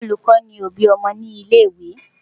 Olùkọ́ ni òbí ọmọ ní ilé-ìwé.